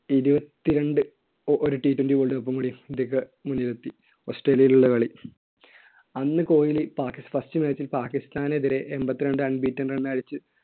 ഇരുപത്തിരണ്ട് ഒരു Ttwenty world cup ഉം കൂടി ഇന്ത്യയ്ക്ക് മുന്നിലെത്തി. ഓസ്‌ട്രേലിയയിലുള്ള കളി. അന്ന് കോഹ്ലി പാകി~ first match ൽ പാക്കിസ്ഥാനെതിരെ എൺപത്തിരണ്ട്‍ unbeaten run അടിച്ച്